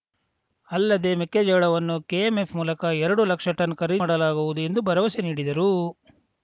ಅಲ್ಲದೇ ಮೆಕ್ಕೆಜೋಳವನ್ನು ಕೆಎಂಎಫ್‌ ಮೂಲಕ ಎರಡು ಲಕ್ಷ ಟನ್‌ ಖರೀದಿ ಮಾಡಲಾಗುವುದು ಎಂದು ಭರವಸೆ ನೀಡಿದರು